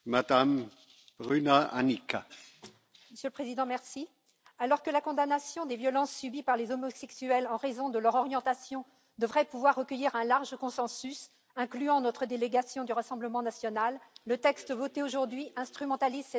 Monsieur le Président, alors que la condamnation des violences subies par les homosexuels en raison de leur orientation devrait pouvoir recueillir un large consensus, incluant notre délégation du Rassemblement national, le texte voté aujourd'hui instrumentalise cette problématique et nécessite notre opposition.